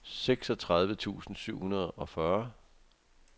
seksogtredive tusind syv hundrede og fyrre